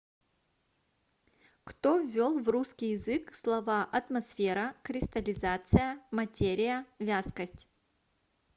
кто ввел в русский язык слова атмосфера кристаллизация материя вязкость